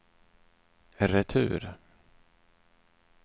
retur